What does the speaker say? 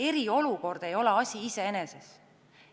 Eriolukord ei ole asi iseeneses.